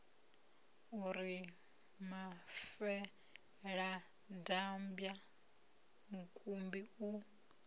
u ri mafeladambwa mukumbi u